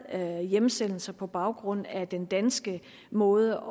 hjemsendelser på baggrund af den danske måde